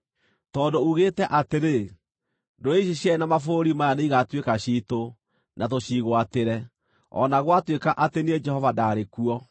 “ ‘Tondũ uugĩte atĩrĩ, “Ndũrĩrĩ ici cierĩ na mabũrũri maya nĩigatuĩka ciitũ, na tũciĩgwatĩre,” o na gwatuĩka atĩ niĩ Jehova ndaarĩ kuo,